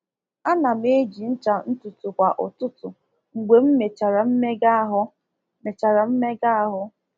Ana m eji ncha ntutu kwa ụtụtụ mgbe m mechara mmega ahụ. mechara mmega ahụ.